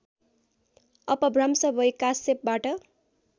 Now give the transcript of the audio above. अपभ्रंस भई कास्यपबाट